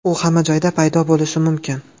U hamma joyda paydo bo‘lishi mumkin.